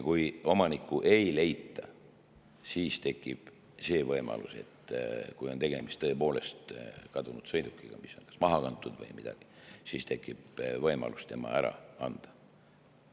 Kui omanikku ei leita või kui on tegemist tõepoolest kadunud sõidukiga, mis on maha kantud, või midagi sellist, siis tekib võimalus see ära anda.